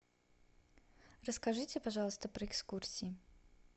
расскажите пожалуйста про экскурсии